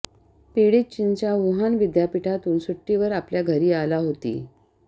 पीडित चीनच्या वुहान विद्यापीठातून सुट्टीवर आपल्या घरी आला होती